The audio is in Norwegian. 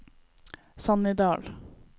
Sannidal